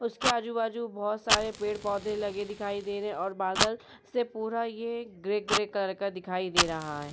उसके आजु बाजु बहोत सारे पेड़ पौधे लगे दिखाई दे रहे है और बादल से पूरा ये ग्रे ग्रे कलर का दिखाई दे रहा है।